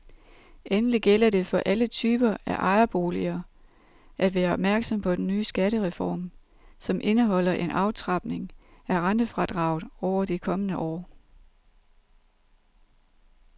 Endelig gælder det for alle typer af ejerboliger at være opmærksom på den nye skattereform, som indeholder en aftrapning af rentefradraget over de kommende år.